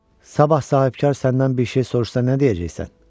Sabah sahibkar səndən bir şey soruşsa nə deyəcəksən?